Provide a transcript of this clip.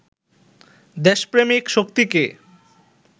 দেশপ্রেমিক শক্তিকে